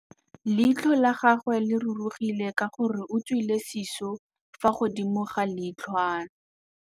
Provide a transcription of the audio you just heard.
Leitlhô la gagwe le rurugile ka gore o tswile sisô fa godimo ga leitlhwana.